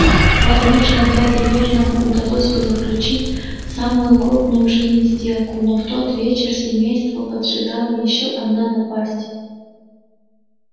возможно дяде вернону удалось бы заключить самую крупную в жизни сделку но в тот вечер семейство поджидала ещё одна напасть